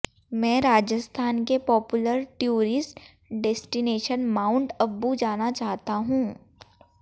मैं राजस्थान के popular tourist destination Mount Abu जाना चाहता हूं